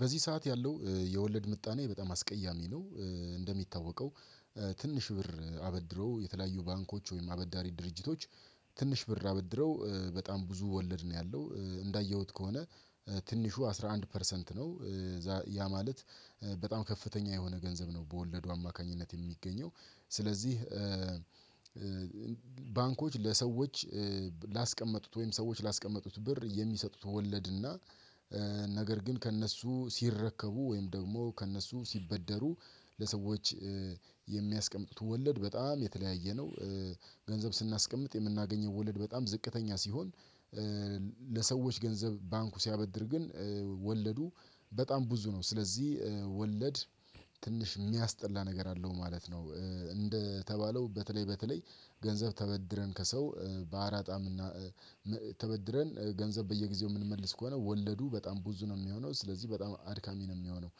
በዚህ ሰዓት ያለው የወለድ ምጣኔ በጣም አስቀያሚ ነው። እንደሚታወቀው ትንሽ ብር አበድሮ የተለያዩ ባንኮች ወይም አበዳሪ ድርጅቶች ትንሽ ብር አበድረው በጣም ብዙ ወለድ ነው ያለው እንዳየሁት ከሆነ ትንሹ አስራ አንድ ፐርሰንት ነው። ያ ማለት በጣም ከፍተኛ የሆነ ገንዘብ ነው በወለዱ አማካኝነት የሚገኘው ስለዚህ ባንኮች ለሰዎች ላስቀመጡት ወይም ሰዎች ላስቀመጡት ብር የሚሰጡት ወለድና ነገር ግን ከእነሱ ሲረከቡ ወይም ደግሞ ከእነሱ ሲበደሩ ለሰዎች የሚያስቀምጡት ወለድ በጣም የተለያየ ነው። ገንዘብ ስናስቀምጥ የምናገኘው ወለድ በጣም ዝቅተኛ ሲሆን ለሰዎች ገንዘብ ባንኩ ሲያበድር ግን ወለዱ በጣም ብዙ ነው ስለዚህ ወለድ ትንሽ ሚያስጠላ ነገር አለው ማለት ነው። እንደተባለው በተለይ በተለይ ገንዘብ ተበድረን ከሰው በአራጣም እና ተበድረን ገንዘብ በየጊዜው ምንመልስ ከሆነ ወለዱ በጣም ብዙ ነው ሚሆነው ስለዚህ በጣም አድካሚ ነው ሚሆነው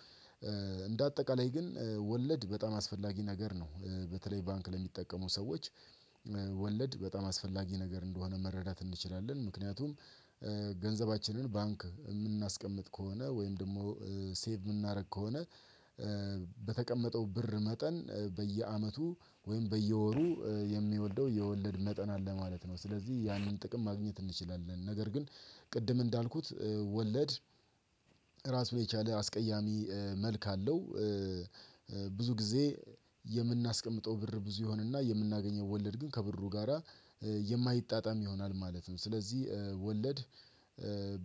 እንደ አጠቃላይ ግን ወለድ በጣም አስፈላጊ ነገር ነው። በተለይ ባንክ ለሚጠቀሙ ሰዎች ወለድ በጣም አስፈላጊ ነገር እንደሆነ መረዳት እንችላለን። ምክንያቱም ገንዘባችንን ባንክ ምናስቀምጥ ከሆነ ወይም ደግሞ ሴቭ ምናደርግ ከሆነ በተቀመጠው ብር መጠን በየአመቱ ወይም በየወሩ የሚወልደው የወለድ መጠን አለ ማለት ነው ስለዚህ ያንን ጥቅም ማግኘት እንችላለን ነገር ግን ቅድም እንዳልኩት ወለድ ራሱን የቻለ አስቀያሚ መልክ አለው። ብዙ ጊዜ የምናስቀምጠው ብር ብዙ ይሆንና የምናገኘው ወለድ ግን ከብሩ ጋራ የማይጣጣም ይሆናል ማለትም ስለዚህ ወለድ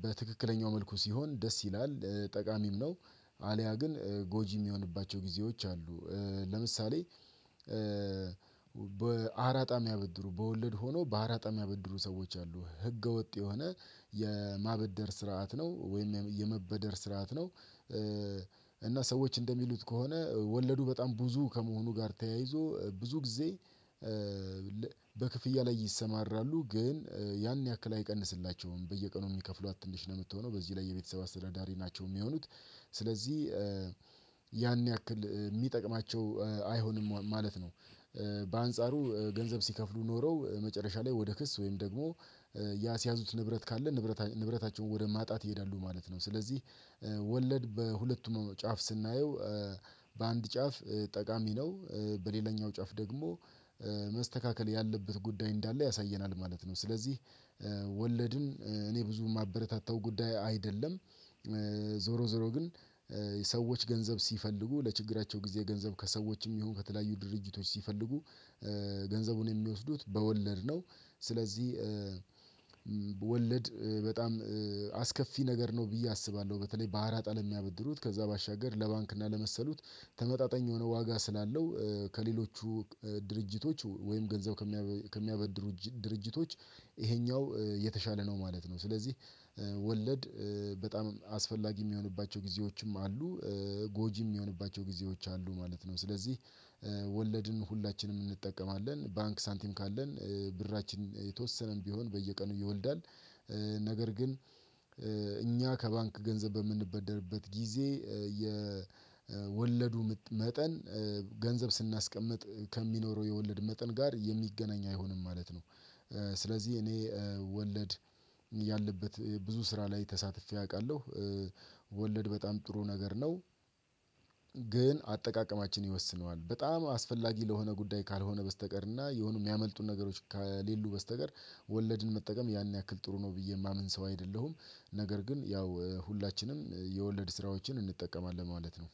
በትክክለኛው መልኩ ሲሆን ደስ ይላል ጠቃሚም ነው አልያ ግን ጎጂም ሚሆንባቸው ጊዜዎች አሉ ለምሳሌ በአራጣም ሚያበድሩ በወለድ ሆኖ በአራጣም ሚያበድሩ ሰዎች አሉ ህገወጥ የሆነ የማበደር ስርዓት ነው ወይም የመበደር ስርዓት ነው እና ሰዎች እንደሚሉት ከሆነ ወለዱ በጣም ብዙ ከመሆኑ ጋር ተያይዞ ብዙ ጊዜ በክፍያ ላይ ይሰማራሉ ግን ያን ያክል አይቀንስላቸውም በየቀኑ የሚከፍሏት ትንሽ ነው የምትሆነው በዚህ ላይ የቤተሰብ አስተዳዳሪ ናቸው ሚሆኑት ስለዚህ ያን ያክል ሚጠቅማቸው አይሆንም ማለት ነው በአንጻሩ ገንዘብ ሲከፍሉ ኖረው መጨረሻ ላይ ወደ ክስ ወይም ደግሞ ያስያዙት ንብረት ካለ ንብረታቸውን ወደ ማጣት ይሄዳሉ ማለት ነው ስለዚህ ወለድ በሁለቱም ጫፍ ስናየው በአንድ ጫፍ ጠቃሚ ነው በሌላኛው ጫፍ ደግሞ መስተካከል ያለበት ጉዳይ እንዳለ ያሳየናል ማለት ነው ስለዚህ ወለድን እኔ ብዙ ማበረታታው ጉዳይ አይደለም። ዞሮ ዞሮ ግን ሰዎች ገንዘብ ሲፈልጉ ለችግራቸው ጊዜ ገንዘብ ከሰዎችም ይሁን ከተለያዩ ድርጅቶች ሲፈልጉ ገንዘቡን የሚወስዱት በወለድ ነው ስለዚህ ወለድ በጣም አስከፊ ነገር ነው ብዬ አስባለሁ በተለይ በአራጣ ለሚያበድሩት ከዛ ባሻገር ለባንክ እና ለመሰሉት ተመጣጣኝ የሆነ ዋጋ ስላለው ከሌሎቹ ድርጅቶች ወይም ገንዘብ ከሚያበድሩ ድርጅቶች ይሄኛው የተሻለ ነው ማለት ነው ስለዚህ ወለድ በጣም አስፈላጊ የሚሆንባቸው ጊዜዎችም አሉ ጎጂም የሚሆንባቸው ጊዜዎች አሉ ማለት ነው። ስለዚህ ወለድን ሁላችንም እንጠቀማለን ባንክ ሳንቲም ካለን ብራችን የተወሰነም ቢሆን በየቀኑ ይወልዳል። ነገር ግን እኛ ከባንክ ገንዘብ በምንበደርበት ጊዜ የወለዱ መጠን ገንዘብ ስናስቀምጥ ከሚኖረው የወለድ መጠን ጋር የሚገናኝ አይሆንም ማለት ነው። ስለዚህ እኔ ወለድ ያለበት ብዙ ስራ ላይ ተሳትፌ አውቃለሁ ወለድ በጣም ጥሩ ነገር ነው። ግን አጠቃቀማችን ይወስነዋል በጣም አስፈላጊ ለሆነ ጉዳይ ካልሆነ በስተቀር እና የሆኑ የሚያመልጡን ነገሮች ከሌሉ በስተቀር ወለድን መጠቀም ያን ያክል ጥሩ ነው ብዬ ማምን ሰው አይደለሁም ነገር ግን ያው ሁላችንም የወለድ ስራዎችን እንጠቀማለን ማለት ነው።